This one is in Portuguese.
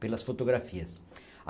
pelas fotografias.